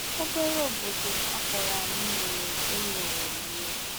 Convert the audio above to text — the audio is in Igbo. Obere obodo a kpọrọ anyị nwere ụlọ iri.